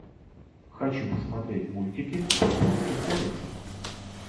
хочу посмотреть мультики по японским комиксам